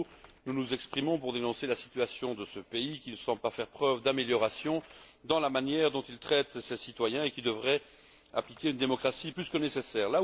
À nouveau nous nous exprimons pour dénoncer la situation de ce pays, qui ne semble pas faire preuve d'amélioration dans la manière dont il traite ses citoyens, et qui devrait appliquer une démocratie plus que nécessaire.